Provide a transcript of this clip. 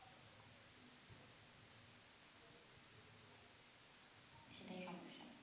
সেটাই সমস্যা